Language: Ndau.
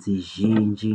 dzizhinji.